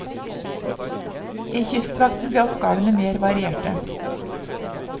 I kystvakten ble oppgavene mer varierte.